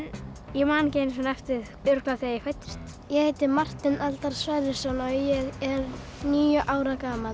ég man ekki eftir því örugglega þegar ég fæddist ég heiti Marteinn Eldar Sverrisson og ég er níu ára gamall